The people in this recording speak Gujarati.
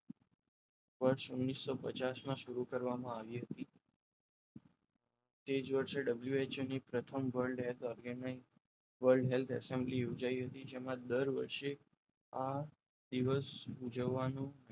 વર્ષ ઓગ્ણીસો પચાસ માં શરૂ કરવામાં આવી હતી તે જ વર્ષે WHO ની પ્રથમ world health organisationworld health assembly ઉજવાય હતી જેમાં દર વર્ષે આ દિવસે ઉજવવાનો